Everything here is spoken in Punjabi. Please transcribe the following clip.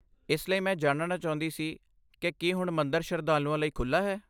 ਇਸ ਲਈ, ਮੈਂ ਜਾਣਨਾ ਚਾਹੁੰਦੀ ਸੀ ਕਿ ਕੀ ਹੁਣ ਮੰਦਰ ਸ਼ਰਧਾਲੂਆਂ ਲਈ ਖੁੱਲ੍ਹਾ ਹੈ।